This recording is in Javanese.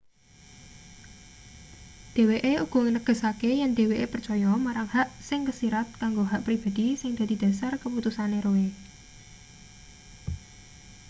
dheweke uga negesake yen dheweke percaya marang hak sing kesirat kanggo hak pribadhi sing dadi dhasar keputusane roe